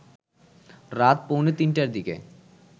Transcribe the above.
রাত পৌনে তিনটার দিকে